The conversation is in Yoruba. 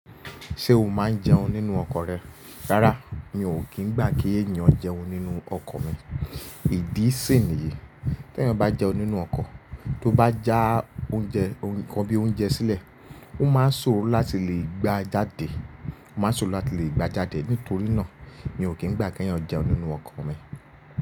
Ṣé o máa ń jẹun nínú ọkọ̀ rẹ? Rárá, mi ò kí ń gbà kí ènìyàn jẹun nínú ọkọ̀ mi. Ìdí sì ni yìí, tí ẹyan bá jẹun nínú ọkọ̀, tó bá já oúnjẹ, o nkan bí i oúnjẹ sílẹ̀, ó máa ń ṣòró láti lè gbá jáde, ó máa ń ṣòró láti lè gbá jáde. Nítorí náà, mi ò kí ń gbà kí ẹ̀yin jẹun nínú ọkọ̀ mi.